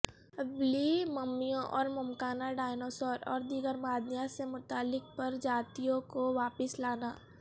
woolly ممیوں اور ممکنہ ڈایناسور اور دیگر معدنیات سے متعلق پرجاتیوں کو واپس لانا